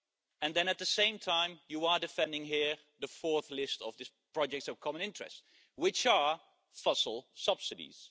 And then at the same time, you are defending here the 4th list of these projects of common interests, which are fossil subsidies.